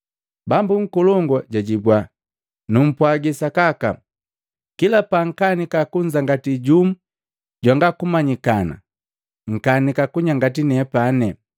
Bambu nkolongu jwajibua, ‘Numpwagi sakaka, kila pankanika kunzangati jumu jwanga kumanyikana, nkanika kunyangati nepani.’